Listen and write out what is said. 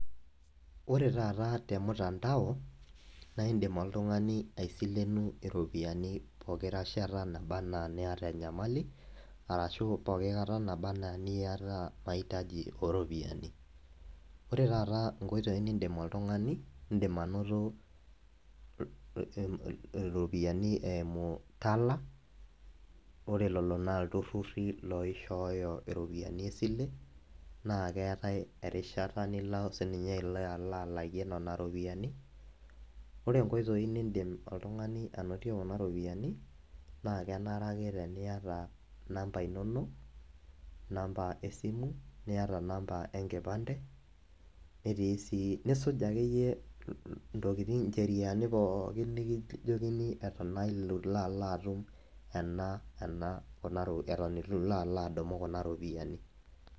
Ore taata temtandao, na idim oltung'ani aisilenu iropiyiani pooki rashata naba enaa niata enyamali, arashu poki kata naba enaa eniata mahitaji oropiyiani. Ore taata inkoitoii niidim oltung'ani, idim anoto iropiyiani eimu Tala, ore lelo naa ilturrurri loishooyo iropiyiani, esile, na keetae erishata nilo sinye alo alakie nena ropiyiani. Ore inkoitoii nidim oltung'ani anotie kuna ropiyiani, naa kenare ake teniata inamba inonok, namba esimu, niata namba enkipande, netii si nisuj akeyie intokiting incheriani pookin likijokini eton naa itu ilo atum ena kuna eton itu alo ala adum kuna ropiyiani.